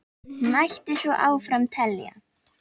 Mætti svo áfram telja.